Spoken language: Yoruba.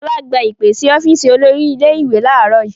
Fọlá gba ìpè sí ọ́fíísì olórí ilé-ìwé láàárọ̀ yìí.